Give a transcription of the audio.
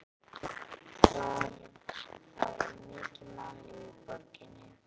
Það var mikið mannlíf í borginni.